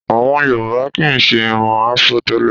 Àwọn Yorùbá kì í ṣe irun Afro tẹ́lẹ̀